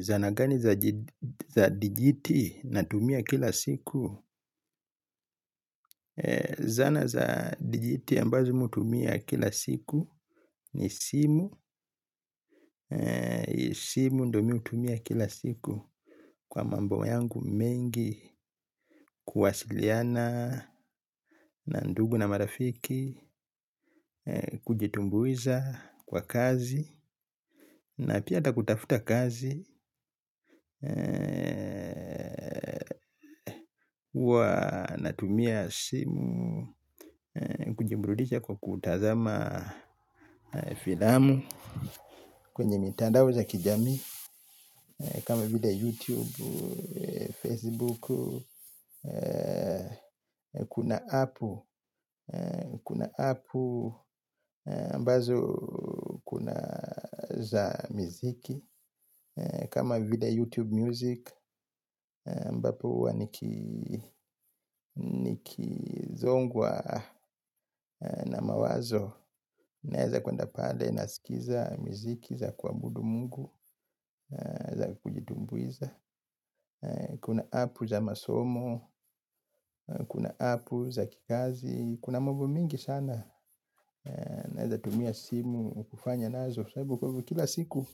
Zana gani za dijiti natumia kila siku? Zana za dijiti ambazo mi hutumia kila siku ni simu. Simu ndio miutumia kila siku kwa mambo yangu mengi kuwasiliana na ndugu na marafiki, kujitumbuiza kwa kazi na pia ata kutafuta kazi. Uwa natumia simu. Kujimburudisha kwa kutazama filamu kwenye mitandao za kijamii kama vile youtube facebook. Kuna appu. Kuna appu aMbazo kuna za miziki. Kama video youtube music aMbapo huwa nikizongwa na mawazo naeza kwenda pale. Naskiza miziki za kuabudu mungu. Za kujitumbuiza. Kuna apu za masomo. Kuna apu za kikazi. Kuna mambo mingi sana. Naeza tumia simu. Kufanya nazo kiwa sababu kila siku.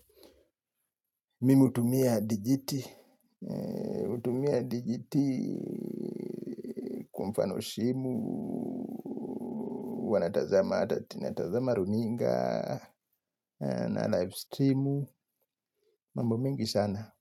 Mimu hutumia digiti. Tumia digiti. Kwa mfanopano simu huwa natazama hata natazama runinga. Na live streamu. Mambo mengi sana.